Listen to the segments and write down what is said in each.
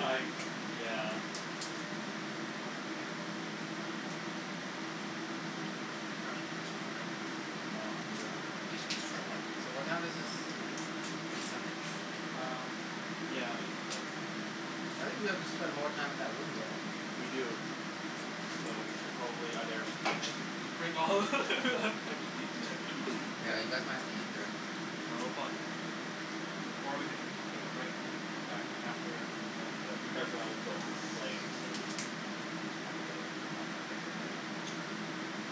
I, yeah. grab some more crab. No, I'm good on crab. Just just try one. So what time is this done? Eight something? Um, yeah, eight something. I think we have to spend more time in that room, don't we? We do, so we should probably either finish Bring all and just eat it eating. No there Yeah, you guys might have to eat in there. No we'll probably finish soon. Or we can take a break and then come back after we're done but you guys wanna go play, so, probably not the best idea.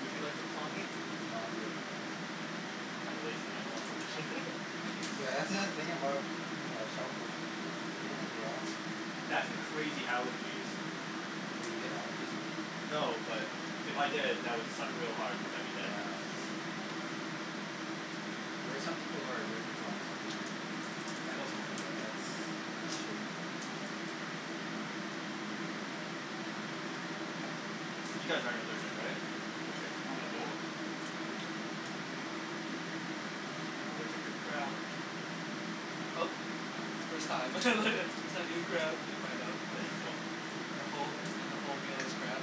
Would you like some claw meat? No, I'm good. I'm kinda lazy and I don't wanna open it. That's the thing about uh shellfish, it's a pain in the ass. That and the crazy allergies Oh you get allergies from them? No, but if I did, that would suck real hard cuz I'd be dead. Yeah. There are some people who are allergic to almost everything. I know someone like that. That's, that's shitty. You guys aren't allergic, right? Okay. Not that I know of. Nah. I'm allergic to crab! Oh, first time first time eating crab and you find out, and the whole, the whole meal is crab.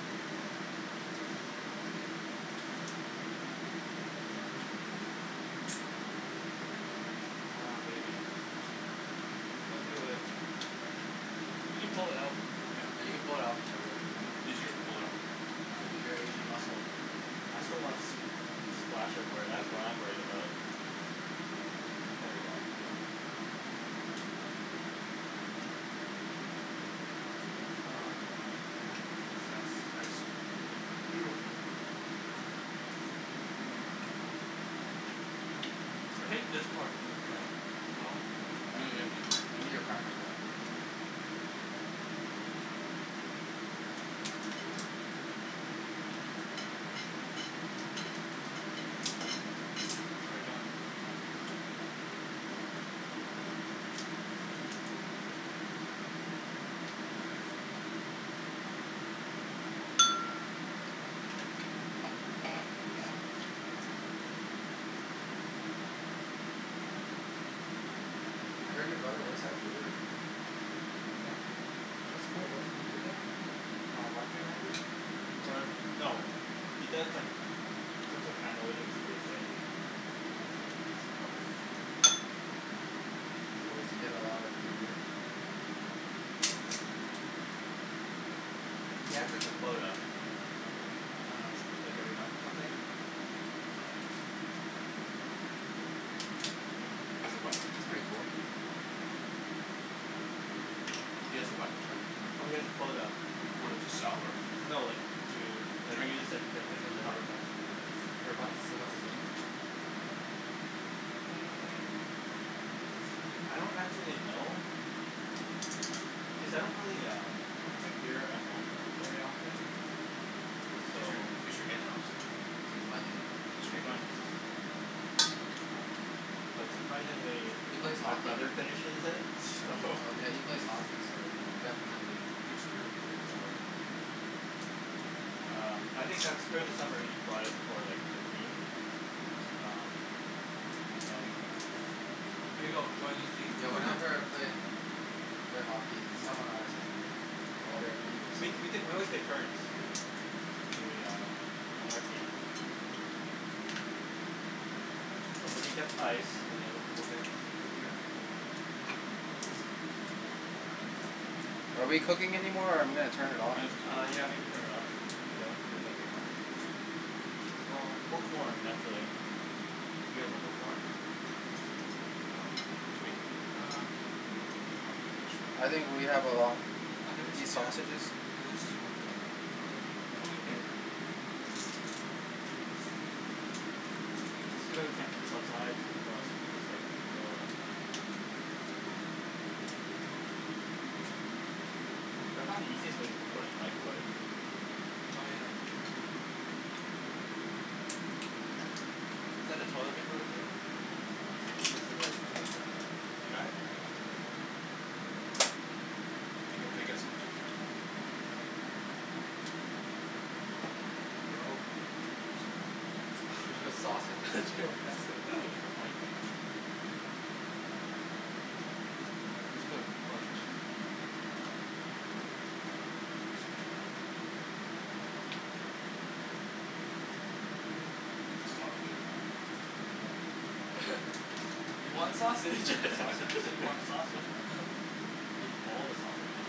Come on baby. You can do it. You can pull it out. Yeah, Yeah, you you can can pull pull it it out. out from there, Rick. Easier to pull it out. Uh use your Asian muscle. I just don't wanna s- the splash everywhere, that's what I'm worried about. There we go, okay. Success. Nice. Yes, beautiful. Mhm. I hate this part of uh the claw Yeah, you need a cracker for that Get it done. I heard your brother works at a brewery. Yeah. That's cool, what does he do there? Um, marketing manager? Er, no, he does like, some sort of analytics for the sale team. Oh okay. So does he get a lot of free beer? He has like a quota. Ah I see. Like every month or something, but That's pretty cool. He has a what, I'm sorry? Oh he has a quota, A quota to sell or? no like, to, like, Drink he just like, gets like, however much per month. So what's his limit? Mm, I don't actually know, cuz I don't really um, I don't drink beer at home very often, so He's your, he's your in, Alex. He's my in? Yeah, he's your in. um, but surprisingly, He plays my hockey. brother finishes it, so Oh yeah, he plays hockey so definitely Free spirit Drinks quota Um, I think that's, during the summer, he brought it for like the team, um, and then Here you go, join his team. Yeah, whenever I play, played hockey, someone always has beer, Oh, either me or we someone t- , we, always took turns, Yep. when we um, on our team. Somebody gets ice, and the other people get the beer. Are we cooking anymore or I'm gonna turn it off Uh yeah maybe turn it off, cuz I don't think there's anything left. Well, more corn actually. Do you guys want more corn? Um, Jimmy? Um I'm I'm I'm good actually. I think we have a lot, I think we want these sh- yeah, sausages? it is too much, Rick, I'm okay. It's too bad we can't do this outside, or else we could just like, grill it. I found the easiest way to cook corn is microwave. Oh yeah. Is that the toilet paper right there? Yes it is, can you gr- . You got it? Yeah. Can I, can I get, can I get some Jim- Jimmy? There you go. Thanks man. That's a lot of That's sausages. You are a lot of, I won't messy eat that, I won't eat that much. I just put a bunch. That's a lot of wiener man. Yeah. You want Yeah, you sausage got You sausages. said you want the sausage, man. Give you all the sausages.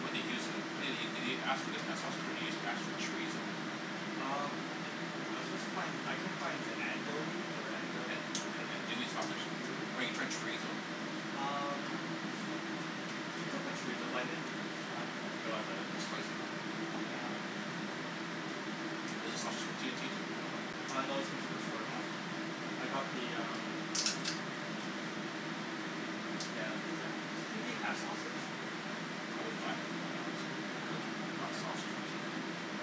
What do you use in tha- did you ask for this kind of sausage or did you ask for chorizo? Um, I, I was supposed to find, I couldn't find, andouille or andel- An- , andouille sausage? andouille? Or you tried chorizo Um, you could put chorizo but I didn't, I forgot about it It's spicy though. Yeah. Is the sausage from T&T too? No Uh no, it's from Superstore. Hm I got the um, yeah cuz I don't, does T&T have sausage? I wouldn't buy it from them anyways. Yeah. Not sausage from T&T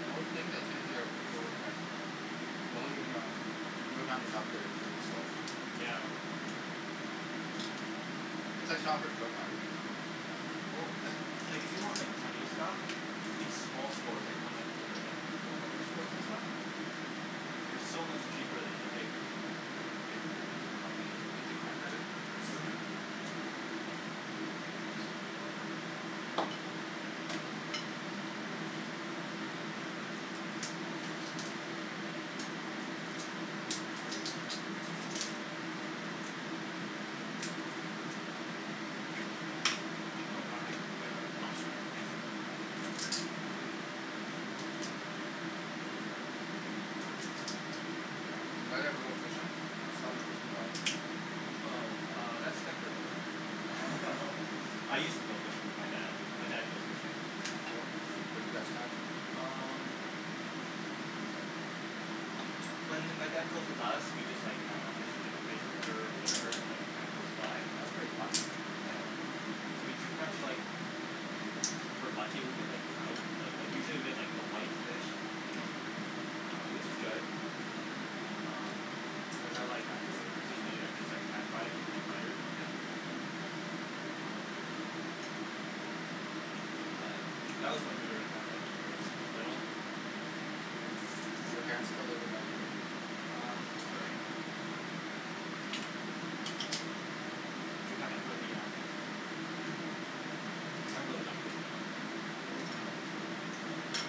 Most things at T&T are over overpriced. The only um the only time we shop there is during the sales. Yeah. It's like Shopper's Drug Mart right? Well, like, like, if you want like Chinese stuff, these small stores, like the ones th- like, the corner stores and stuff? They're so much cheaper than the big, big Yeah, companies. you have the cracker there? Mhm. Thanks. Oh that's my plate, I'll get it back. Oh sorry Did you guys ever go fishing? I saw your fishing rod. Oh, uh, that's decorative Oh. I used to go fishing with my dad, my dad goes fishing. Oh cool. What do you guys catch? Um, when m- my dad goes with us, we just like, I dunno, just fish in like the Fraser River, whatever, like kinda close Oh by? that's pretty fun. Yeah, so we catch like, if we're lucky we get like trout, but like usually we get like the white fish Mhm which is good. Um, which I like actually. Especially when you like just like pan fry it or deep fry it or something? But, that was when we were like kinda like when we were s- little. Do your parents still live in Vancouver? Um, Surrey. We haven't really um I haven't really gone fishing though, for a while, but it's fine.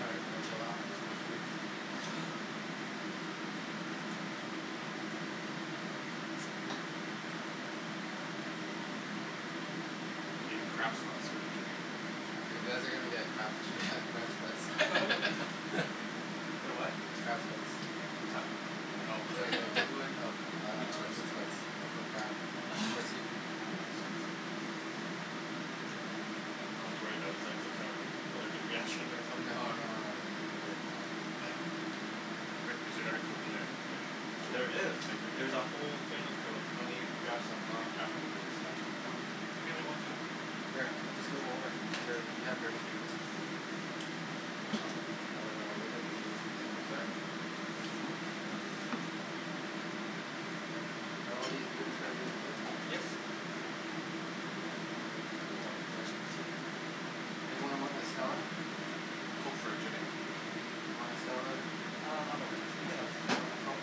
All right gonna chill out. Too much food. I'm getting crab sweats here, Jimmy. You guys are gonna get crap crab sweats Get what? Crab sweats. What's that? I dunno It's like the equivalent of Meat um sweats meat sweats but for crab. For seafood. meat sweats. I was worried that was like some sort of allergic reaction or No something. no no worries, we're fine. Rick, is there another Coke in the fridge? There is, there's a whole thing of Coke, let me grab some, aw crap, my fingers are stuck. Oh, can you get me one too? Sure, I'll just move over, you a- you have dirty fingers. Thanks Al I have a little bit cleaner Thank you so sir. Are all these beers for our game too? Yes. Anything in there is Oh. up for Anyone want a Stella? Coke for Jimmy. You wanna Stella Rick? Um I'm okay, you can have Want a Coke?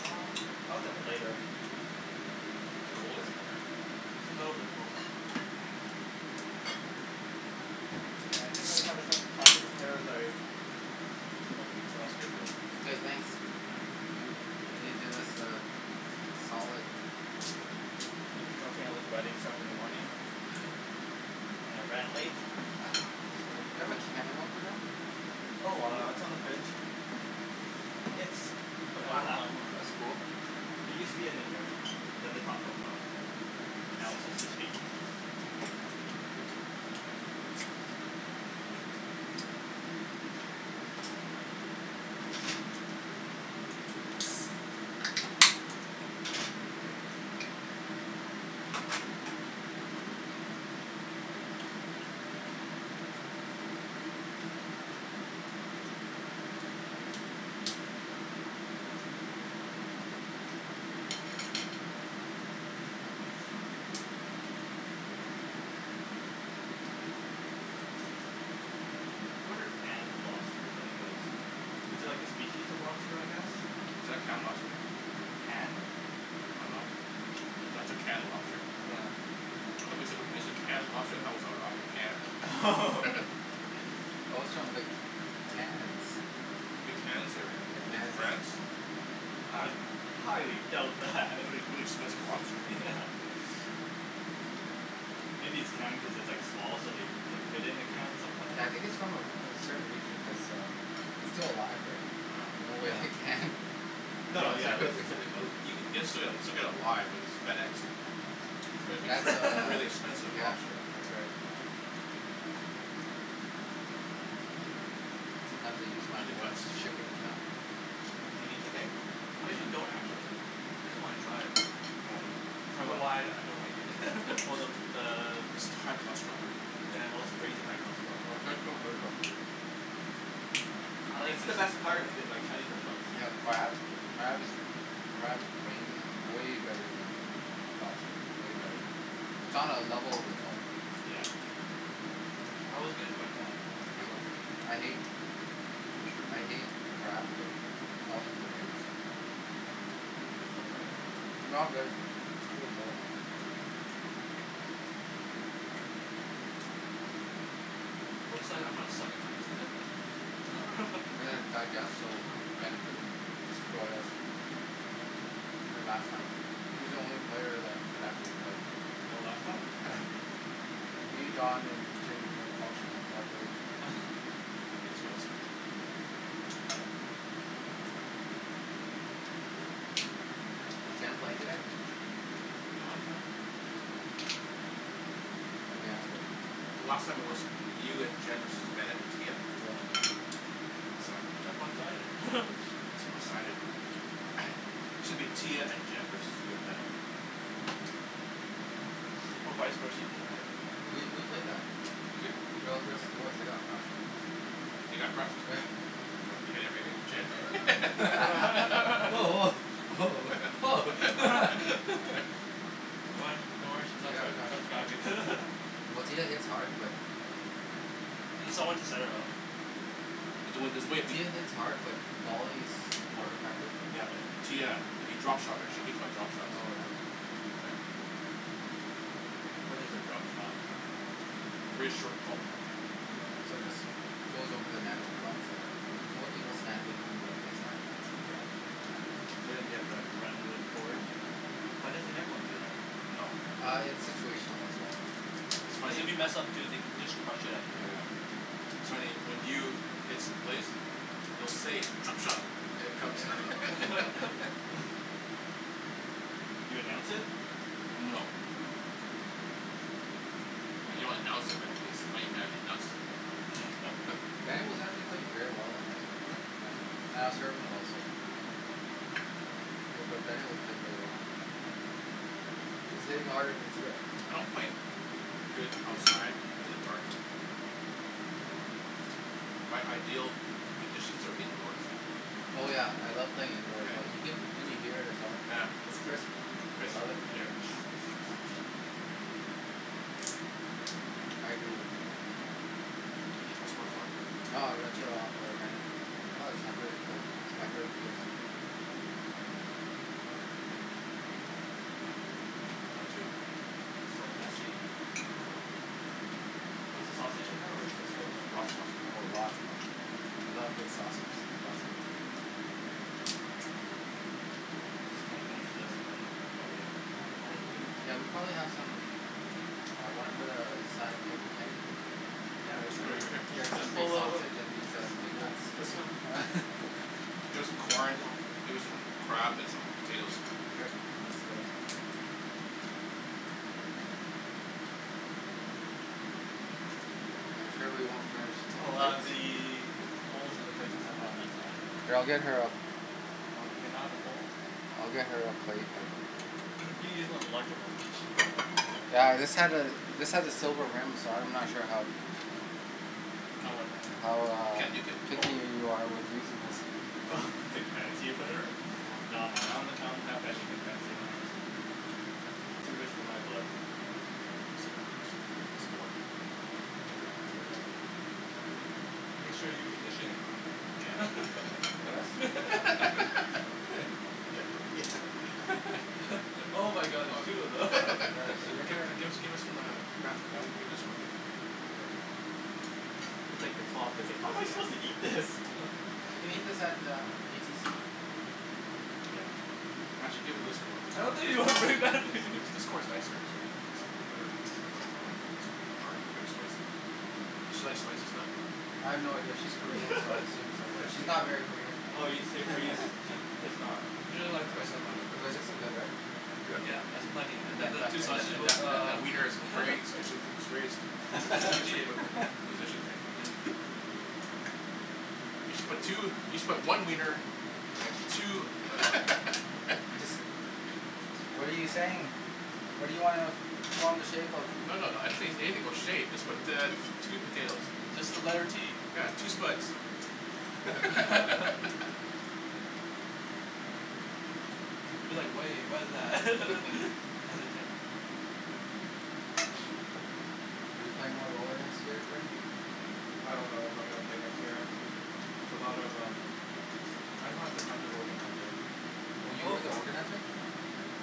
Um I'll get one later. It's colder in there right? It's a little bit cold. Yeah I didn't really have a chance to prep- prepare better. Okay. Okay thanks. You really did us a solid. I was helping with the writing stuff in the morning. And it ran late. Is there a can opener? Oh it's on the fridge. It's the black one. That's cool. It used to be a ninja. Then the top broke off. And now it's just his feet. What are canned lobsters anyways? Is it like a species of lobster I guess? Is that canned lobster? Canned. I don't know. That's a canned lobster? Yeah. I though wen- when you said canned lobster I though it was out- Oh. Oh. outta a can. Oh it's from the Cannes. You mean the Cannes area, The in Cannes. France? I highly doubt that. That would be really expensive lobster. Yeah. Maybe it's canned because it's like small so they can fit in a can sometimes. Yeah I think its from a re- a certain region cuz um its still alive, Oh. no Yeah. way it canned. No yeah it's uh You can ge- still get it live, you know, it's FedExed. Is And would be that's still uh, really expensive yeah, lobster. that's right. Sometimes I use my work's shipping account. Do you need the thing? Cuz you don't actually I just wanna try it. Hold on. I For don't know what? why I don't like it. Oh the the High cholesterol. Oh it's crazy high cholesterol. It's the best part in like Chinese restaurants. They have crab, crab is crab's brains is way better then lobster, way better. It's on a level of its own. Yeah. I always give it to my dad he loves it. I hate I hate crab but I'll eat the brains. No I'm good, pretty full. Looks like I'm gonna suck at tennis there. digest so Bennet doesn't destroy us like last time he's the only player that could actually play. Oh last time? Yeah. Me, Don and Jimmy weren't functioning properly. Is Jen playing today? Lemme ask her. So last time it was you and Jen versus Bennet and Tia? Yeah. That's one sided. It's one sided. Shoulda been Tia and Jen versus you and Bennett. Or vise versa doesn't matter. We we play better. You did? Girls versus boys they got crushed. They they got crushed? What your Jen. woah Oh Oh woah, woah oh Don't worry don't worry she's Oh not yeah ca- Well Tia hits hard but Oh She's need someone to Ah set it up. There's there's a way. Tia hits hard but volleys more More. effective. Yeah but Tia you drop shot her she hates my drop shots. Oh yeah. What is a drop shot? Really short ball. Yeah. So it just goes over the net and drops there. Most people stand behind the baseline. Okay. Yeah. So then you have to like run real forward? Yeah. Why doesn't everyone do that? No. Ah it's situational as well. It's Cuz funny. if you mess up too they just crushed it outta Yeah. your Yeah. air. So anyway when you hits place you'll say "drop shot". You announce it? No. No you don't announce it but he's a funny guy he announces it right. Bennet was actually playing very well that night, Oh yeah. yeah, and I was serving well so. Hmm Bu- but Bennet was playing really well. He he was hitting harder then Tia. I don't play good outside in the dark. My ideal conditions are indoors. Oh yeah I love playing indoors well you can you can hear it as well. Yeah, yeah. I Chris love it. yup. Yeah. I agree with you on that. No. Ca- have some more corn? No or ah Bennet. Plus I'm pretty cold my third year. I'm done too. So messy. I know. Is the sausage in there or is it in the thing? Lots of sausage. Oh lots man. You love big sausage, lots in there. Oh. I'm just gonna finish this and then I'm probably Yeah. gonna call it. Yeah we probably have some. Ah wanna put a a side of plate for Kim? Yeah Get her we could some do b- that. get her some big Ho- ho- sausage and hold. these uh The big whole nuts. There's This one. som- There's some corn, there some crab and some potatoes. I'm sure we won't finish. Oh ah the bowls and the plates and stuff are on that side. We'll get her a Oh do we not have a bowl? Oh okay. you can use one of the larger ones it'll be probably easier. Yeah this has a this has a silver rim so I'm not sure how. How what? How You ah can't nuke it. Oh picky wha- you are with using this. Hmm Oh like or whatever? Nah man I don- don't that have anything fancy in my house. Too rich for my blood. What's the matter a piece a piece of corn there. Make sure you position it right. us. Yeah can just can I Give get her her. give her some um crab Yeah. give this one too. Okay. It's like the claw, it's I like "how am I suppose to can't. eat this"? She can eat this at the BTC. Yeah. Actually give her this corn. I don't think This corn's nicer actually or good looking corn pretty dark here's spicy. Does she like spicy stuff? I have no idea, she's Korean so I assume so Oh yeah but she's not very Korean. Oh are you she's seri- are you ser- it's not. You don't like spice that much. Well like this is good right? Yup, that's plenty And and then that those that two that sausages and that that uh that wiener is very is very strategically positioned. Yeah. You should but two you should put one wiener and two. What are you saying? What do you wanna form the shape of? No no no I didn't say anything about shape just put uh two potatoes. Just the letter T. Yeah two spuds. You're like way what's that hesitant. Are you playing more roller next year Rick? I don't know if I'm gonna play next year. It's a lot of um. I just don't have the time to organize it. Oh you were the organizer?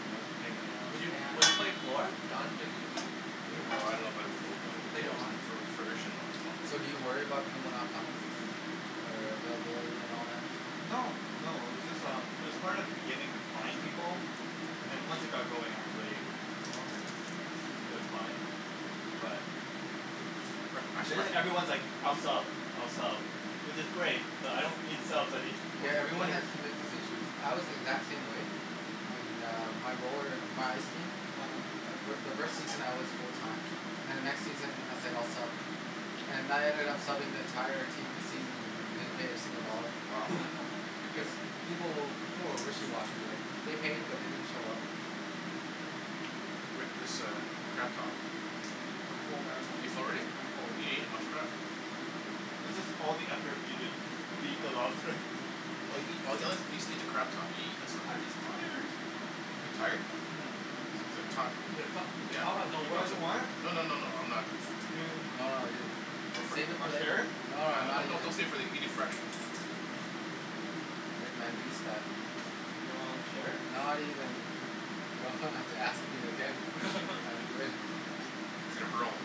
No it was a pain in the Would ass. you would you play four Don's making a team. Hum? Oh I love o o o Later on. o o furnishing them. So do you worry about people not coming? Or uh availability and all that? No, no, it was just um it was hard at the beginning to find people and once Hmm it got going actually Oh okay. it was fine. But But It actually jus- everyone's like I'll sub I'll sub which is great but I don't need subs I need pa- Yeah everyone players. has commitment issues, I was the exact same way. And uh my roller my ice team. uh-huh The fi- the first season I was full time. Then the next season I said I'll sub. And I ended up subbing the entire season. Yeah, wow, good deal. People will people were wishy washy right. They paid uh-huh but they didn't show up. Rick this uh crab top. I'm full man, Are you full already? I'm full. You didn't each much crab. This is all the effort we did to eat the Oh. lobster. Or eat a at least eat the crab top you eat this stuff? I'm just tired. You're tired? um The Yeah. top has no You no no guys don't want it? No no no no no I'm I'm not. not. You No no ju- Go for it. Save it for Wanna share later. it? No No no not no even. don't save it eat it fresh. Rick man beast that. Do you wanna share it? Not even. You don't ha- have to ask me again I'm good. He's gonna hurl.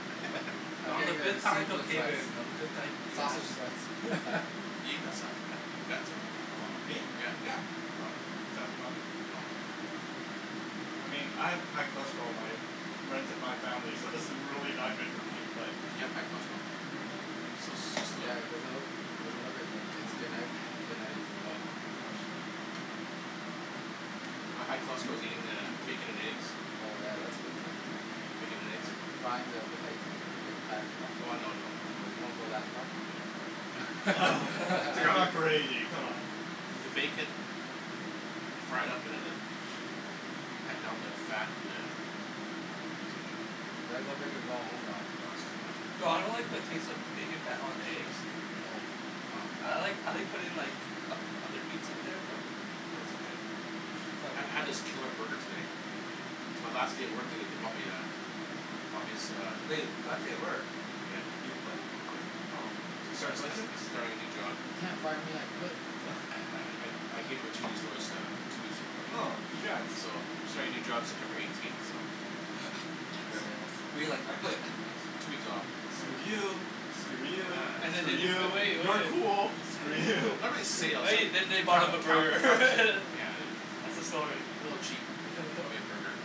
I'm getting uh seafood sweats. complicated. Sausage sweats. Me? Yeah. Is that not I mean I have high cholesterol, my runs in my family so this is really not good for me but You have high cholesterol? Hmm You so so slim. Yeah it doesn't look doesn't look it but i- its uh-huh. genetic. Oh. No. My high cholesterol is eating uh bacon and eggs. Bacon and eggs. Frying the eggs in the bacon fat as well? Oh no no no. You don't go that No I far? don't go Dude that far man. I'm not anything come on. You gotta go big or go home Don. Nah that's too much man. No I don't like the taste of bacon fat on the eggs. I like I like putting in like o- other meats in there though. I ha- had this killer burger today. It's my last day at work today they bumped me uh they bumped as- uh Hey, last day at work. Yeah. You quit? I quit. Oh. I sta- sta- Congratulations. I starting a new job. Uh No I I I gave em a two weeks notice that I'm two weeks ago Oh right. congrats. So I'm starting a new job September eighteenth but like So We're you're you like like I "I quit. quit"? two weeks off. So Screw yay. you. For Screw you, real, And then for screw they Yeah you, you. so cool. Screw Screw you. you. and then they bought him Oh. a burger Yeah. That's the story. A little chap bought me a burger.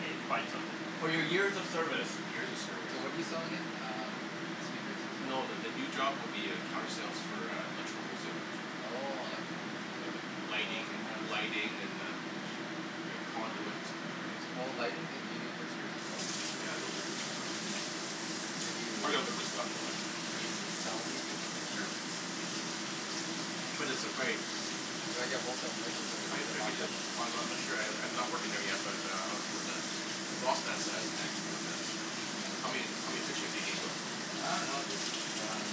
Hey they bought you something ri- For For your your years years of of service. service. Years of So what service. do you sell again? um speakers and No the the new stuff. job would be uh counter sale for uh electrical wholesaling. Oh electrical whole Yeah like seller. lighting an- lighting and uh Like conduit and stuff like that so. Oh lighting do yo- do you do fixtures as well? Yeah they'll do fixture and that. Could you? I gotta learn the stuff though right? Could you sell me fixtures? Sure. But it's just like. Do I get wholesale prices or I gotta do you check it markup? yet. Oh I I'm not sure I I'm not working there yet but uh I'll see what the prospects says but uh How many how many fixtures do you need though? I don't know just um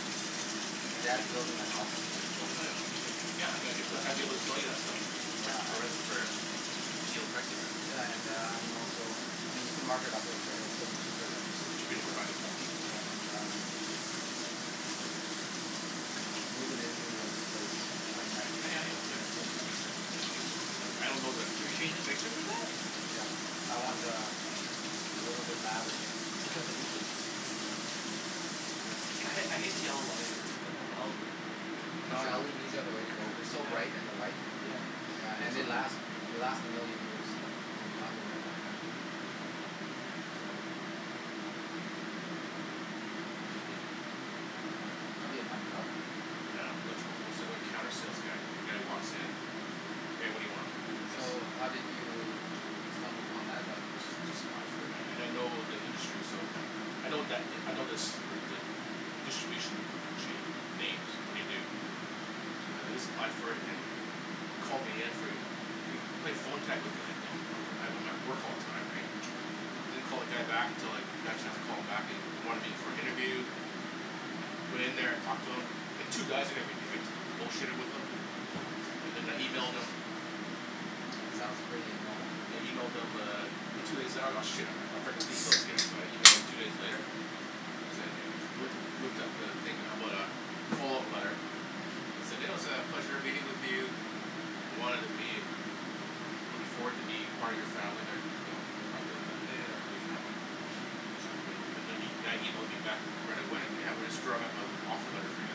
my dad's building a house that's Oh it. yeah yeah okay. Yeah I'd get I'd be able to Um sell you that stuff. Yeah I For a would. for a deal pricing right so. Yeah and uh I'm also I mean you can mark it up a little bit it will still be cheaper then still be cheaper than buy at HomeDepot right and uh moving into a new place twenty ninth of Yeah yeah April I'm yeah, gonna yeah change the fixtures. easier. I I don't that Can yo- your fixtures do that? Yeah I want uh a little bit lavish. I ha- I hate the yellow lighting. Yeah. No LEDs are the way to go they're so Yeah. light and they're white. Yeah. Yeah and they last. They last a million years Yeah. so you don't have to worry about them. That'll be a fun job. Yeah electrical wholesaler counter sales guy the guys who walks in hey what do you want? So how did you stumble upon that job? I just just applied for it and and I know the industry so I know that I know this the the distribution chain names what they do so then I just applied for it and they called me in for an they they played phone tag with me like you know I I'm at work all the time right I don't call the guy back until like I got a chance to call him back he he wanted me for an interview went in there talked to him there's two guys that interviewed me right just bull shitted with them and then I emailed them. Sounds pretty normal. I emailed them uh two days out oh shit I I forgot to email those guys so I emailed two days later to say hey loo- looked up the thing about uh follow-up letter said oh said "it was a pleasure meeting with you" I wanted to be I'm looking forward to be part of your family there part of the Yeah. company family. And the- then the guy emailed me back right away "yeah we're just drawing up an offer letter for you".